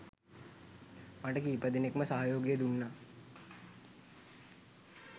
මට කීපදෙනෙක්ම සහයෝගය දුන්නා.